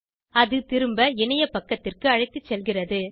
அது திரும்ப இணைய பக்கத்திற்கு அழைத்துச் செல்கிறது